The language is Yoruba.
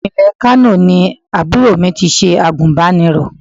Ìpínlẹ̀ Kano ni àbúrò mi ti ṣe àgùnbánirọ̀.